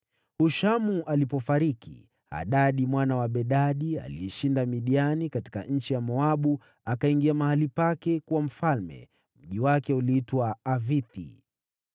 Hushamu alipofariki, Hadadi mwana wa Bedadi, aliyeshinda Midiani katika nchi ya Moabu, akawa mfalme baada yake. Mji wake uliitwa Avithi.